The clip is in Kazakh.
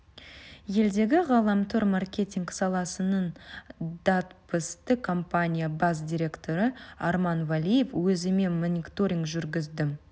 елдегі ғаламтор маркетинг саласының датбысты компания бас директоры арман валиев өзіме мониторинг жүргіздім